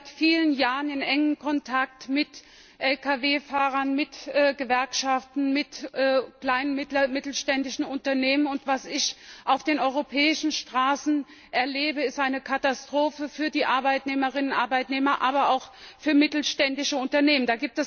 Ich bin seit vielen Jahren in engem Kontakt mit Lkw Fahrern, mit Gewerkschaften, mit kleinen, mittelständischen Unternehmen, und was ich auf den europäischen Straßen erlebe, ist eine Katastrophe für die Arbeitnehmerinnen und Arbeitnehmer, aber auch für mittelständische Unternehmen.